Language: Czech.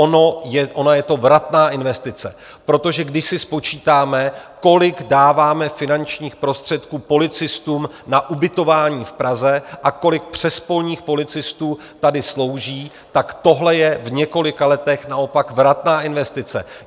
Ona je to vratná investice, protože když si spočítáme, kolik dáváme finančních prostředků policistům na ubytování v Praze a kolik přespolních policistů tady slouží, tak tohle je v několika letech naopak vratná investice.